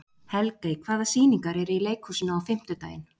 Helgey, hvaða sýningar eru í leikhúsinu á fimmtudaginn?